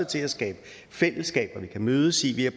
til at skabe fællesskaber vi kan mødes i vi har